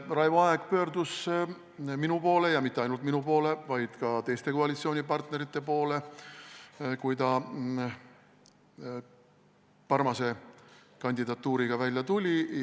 Jah, Raivo Aeg pöördus minu poole ja mitte ainult minu poole, vaid ka teiste koalitsioonipartnerite poole, kui ta Parmase kandidatuuriga välja tuli.